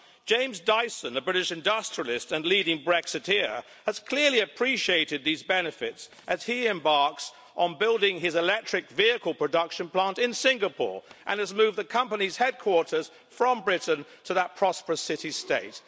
James Dyson, the British industrialist and leading Brexiteer, has clearly appreciated these benefits as he embarks on building his electric vehicle production plant in Singapore and has moved the company's headquarters from Britain to that prosperous city-state.